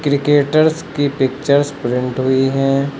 Cricketers की pictures print हुई है।